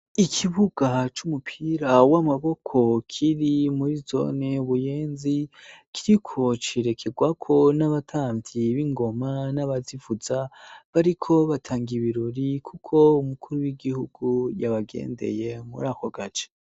Ikibuga c'umupira w'amaboko kiri muri zone buyenzi kiriko cirekerwako n'abatamvyi b'ingoma n'abazivuza bariko batangae ibirori, kuko umukuru w'igihugu yabagendeye muri ako gace.